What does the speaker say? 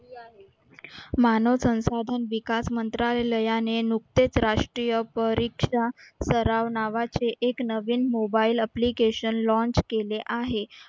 मानव संसाधन विकास मंत्रालयाने नुकतेच राष्ट्रीय परीक्षा सराव नावाचे एक नवीन mobile application launch केले आहे.